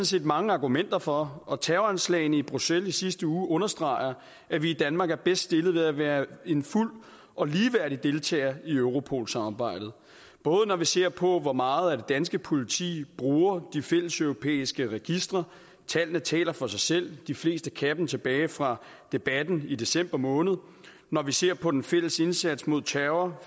set mange argumenter for og terroranslagene i bruxelles i sidste uge understreger at vi i danmark er bedst stillet ved at være en fuld og ligeværdig deltager i europol samarbejdet både når vi ser på hvor meget det danske politi bruger de fælleseuropæiske registre tallene taler for sig selv de fleste kan dem tilbage fra debatten i december måned og når vi ser på den fælles indsats mod terror